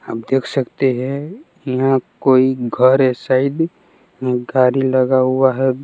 आप देख सकते हैं यहां कोई घर है शायद गाड़ी लगा हुआ है।